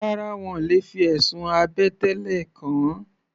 Rárá, wọ́n le fi ẹ̀sùn àbẹ̀tẹ́lẹ̀ kàn ọ́.